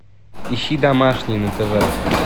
ищи домашний на тв